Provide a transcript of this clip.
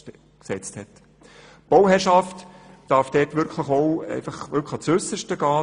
Die Bauherrschaft darf dort wirklich auch ans Äusserste gehen.